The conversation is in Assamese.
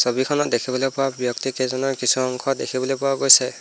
ছবিখনত দেখিবলৈ পোৱা ব্যক্তিকেইজনৰ কিছু অংশ দেখিবলৈ পোৱা গৈছে।